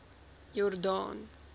jordaan